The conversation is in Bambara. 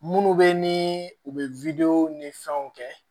Munnu be ni u be wdew ni fɛnw kɛ